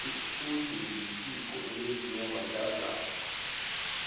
icude lisiko elenziwa bantazana